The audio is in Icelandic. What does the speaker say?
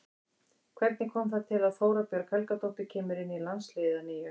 Hvernig kom það til að Þóra Björg Helgadóttir kemur inn í landsliðið að nýju?